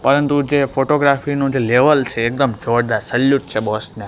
પરંતુ જે ફોટોગ્રાફી નું જે લેવલ છે એકદમ જોરદાર સેલ્યુટ છે બોસ ને.